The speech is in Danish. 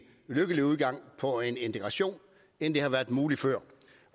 lykkelig udgang på integrationen end det har været muligt før